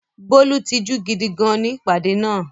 Bólú tijú gidi gan-an ní ìpàdé náà.